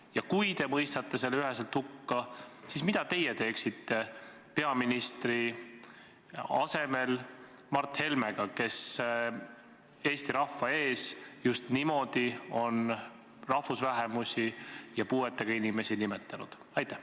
Ja kui te mõistate selle üheselt hukka, siis mida teie teeksite peaministri asemel Mart Helmega, kes Eesti rahva ees just niimoodi on rahvusvähemusi ja puuetega inimesi nimetanud?